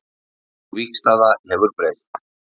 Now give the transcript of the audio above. Sú vígstaða hefur breyst